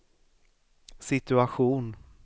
situation